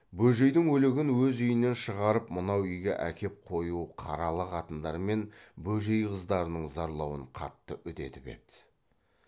бөжейдің өлігін өз үйінен шығарып мынау үйге әкеп қою қаралы қатындар мен бөжей қыздарының зарлауын қатты үдетіп еді